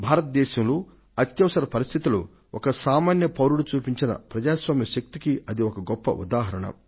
భారతదేశంలో అత్యవసర పరిస్థితిలో ఒక సామన్య పౌరుడు చూపించిన ప్రజాస్వామ్య శక్తికి అది ఒక గొప్ప ఉదాహరణ